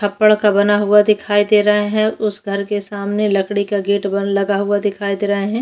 छप्पड़ का बना हुआ दिखाई दे रहा है उस घर के सामने लकड़ी का गेट बन लगाया हुए दिखाई दे रहे है।